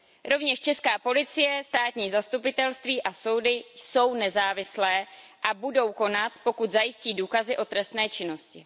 Rovněž česká policie, státní zastupitelství a soudy jsou nezávislé a budou konat, pokud zajistí důkazy o trestné činnosti.